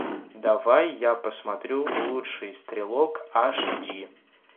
давай я посмотрю лучший стрелок аш ди